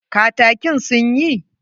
Katakin sun yi?